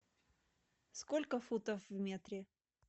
сколько футов в метре